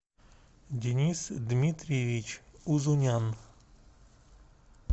денис дмитриевич узунян